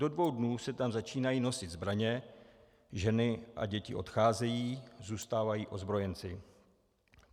Do dvou dnů se tam začínají nosit zbraně, ženy a děti odcházejí, zůstávají ozbrojenci.